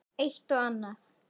Eitt og annað.